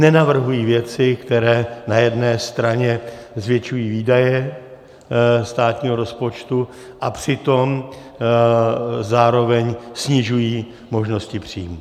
Nenavrhují věci, které na jedné straně zvětšují výdaje státního rozpočtu, a přitom zároveň snižují možnosti příjmů.